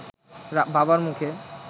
বাবার মুখে